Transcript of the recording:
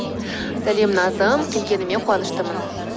сәлем назым келгеніме қуаныштымын